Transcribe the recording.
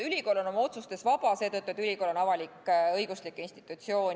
Ülikool on oma otsustes vaba seetõttu, et ta on avalik-õiguslik institutsioon.